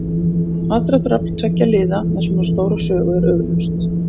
Aðdráttarafl tveggja liða með svona stóra sögu er augljóst.